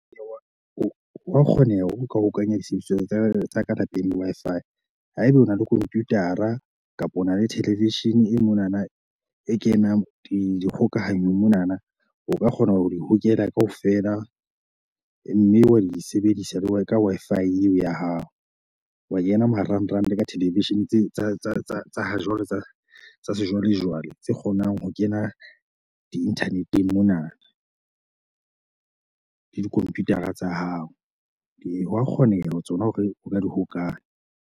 Wa kgoneha hore o ka hokanya disebediswa tsa tsa lapeng le Wi-Fi haeba o na le computer-a kapa ona le television e monana e kenang di kgokahanyo monana. O ka kgona ho di hokela kaofela mme wa di sebedisa le Worker Wi-Fi eo ya hao. Wa kena marangrang ka television tse tsa tsa tsa tsa ha jwale tsa sejwalejwale, tse kgonang ho kena di-nternet-eng mona le di-computer-a tsa hao. Hwa kgoneha hore tsona hore o ka di hokae .